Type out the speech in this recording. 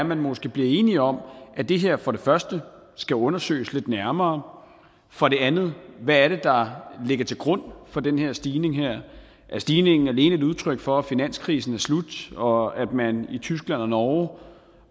man måske bliver enig om at det her for det første skal undersøges lidt nærmere for det andet hvad der ligger til grund for den stigning er stigningen alene et udtryk for at finanskrisen er slut og at man i tyskland og norge